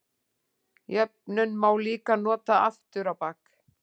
Jöfnuna má líka nota aftur á bak.